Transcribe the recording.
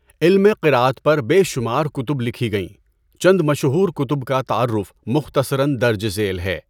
علم قرأت پر بے شمار کتب لکھی گئیں، چند مشہور کتب کا تعارف مختصراً درج ذیل ہے۔